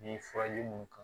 Ni furaji mun kan